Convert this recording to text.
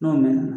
N'o mɛn na